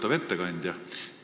Lugupeetav ettekandja!